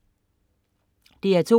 DR2: